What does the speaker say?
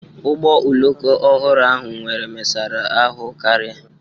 Ụgbọ oloko ọhụrụ ahụ nwere mesara ahụ karị.